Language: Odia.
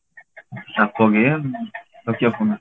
nokia phone